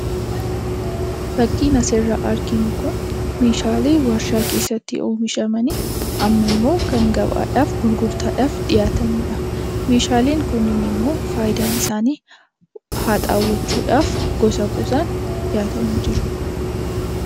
Fakkiin asirratti arginu kun meeshaalee warshaa keessatti oomishamanii ammammoo gabaadhaaf gurgurtaadhaaf dhiyaatanidha. Meeshaaleen kunniin immoo faayidaan isaanii haxaawwachuudhaaf gosa gosaan dhiyaatanii jiru.